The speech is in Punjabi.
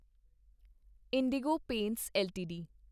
IndiGo Paints LTD